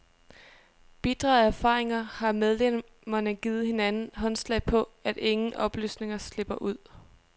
Bitre af erfaringer har medlemmerne givet hinanden håndslag på, at ingen oplysninger slipper ud.